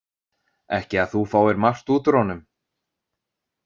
Ekki að þú fáir margt út úr honum.